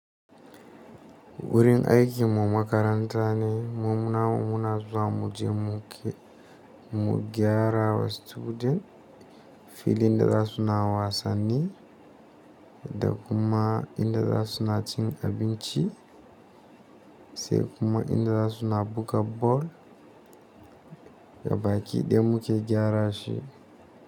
Wurin aiki mu makaranta ne muna muna zuwa muje muke mu gyarawa student fili inda za su na wasanni, da kuma inda za su na cin abinci, sai kuma inda za su na buga bal ga baki da muke gyara shi.